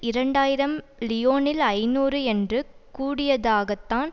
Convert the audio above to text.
இரண்டு ஆயிரம் லியோனில் ஐநூறு என்று கூடியதாகத்தான்